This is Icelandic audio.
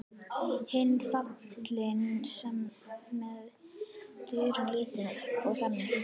Hinn fallni var meðvitundarlítill og þagði.